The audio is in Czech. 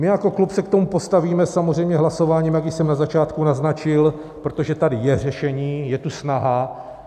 My jako klub se k tomu postavíme samozřejmě hlasováním, jak již jsem na začátku naznačil, protože tady je řešení, je tu snaha.